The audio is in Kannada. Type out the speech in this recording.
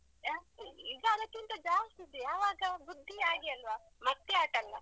ಹಾ, ಈಗ ಅದಕ್ಕಿಂತ ಜಾಸ್ತಿ ಇದೆ ಆವಾಗ ಬುದ್ಧಿ ಹಾಗೆ ಅಲ್ವಾ ಮತ್ತೆ ಆಟಾಲ್ಲ.